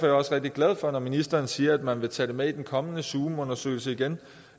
jeg også rigtig glad for at ministeren siger at man vil tage det med i den kommende zoomundersøgelse igen